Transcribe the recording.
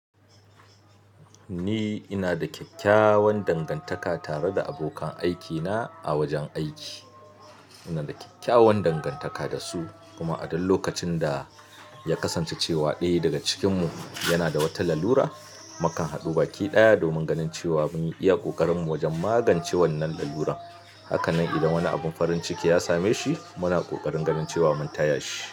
Ni ina da kyakkyawan dangantaka tare da abokan aikina a wajen aiki. Ina da kyakkyawan dangantaka da su, kuma a duk lokacin da ya kasance cewa ɗaya daga cikinmu yana da wata lalura, mukan haɗu baki ɗaya domin ganin cewa mun iya ƙoƙarinmu wajen magance wannan lalurar. Hakanan idan wani abin farin ciki ya same shi, muna ƙoƙarin ganin cewa mun taya shi.